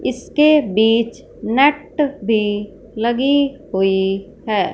इसके बीच नट भी लगी हुई हैं।